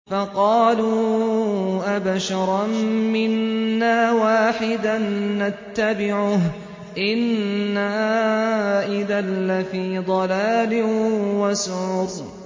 فَقَالُوا أَبَشَرًا مِّنَّا وَاحِدًا نَّتَّبِعُهُ إِنَّا إِذًا لَّفِي ضَلَالٍ وَسُعُرٍ